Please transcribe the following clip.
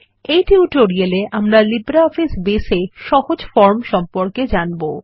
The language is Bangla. এই টিউটোরিয়ালে আমরা লিব্রিঅফিস বেস এ সহজ ফরম সম্পর্কে জানবো